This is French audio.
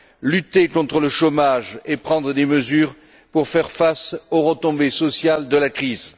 lutter contre le chômage et prendre des mesures pour faire face aux retombées sociales de la crise